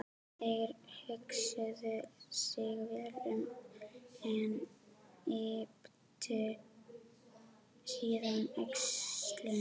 Þeir hugsuðu sig vel um en ypptu síðan öxlum.